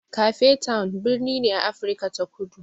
Cape town birni ne a Afrika ta Kudu.